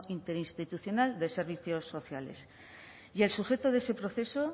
interinstitucional de servicios sociales y el sujeto de ese proceso